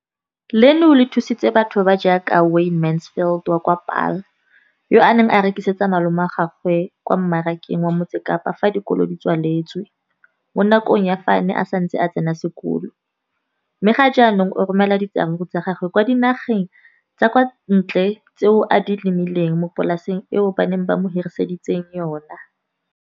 Leno le thusitse batho ba ba jaaka Wayne Mansfield, 33, wa kwa Paarl, yo a neng a rekisetsa malomagwe kwa Marakeng wa Motsekapa fa dikolo di tswaletse, mo nakong ya fa a ne a santse a tsena sekolo, mme ga jaanong o romela diratsuru tsa gagwe kwa dinageng tsa kwa ntle tseo a di lemileng mo polaseng eo ba mo hiriseditseng yona.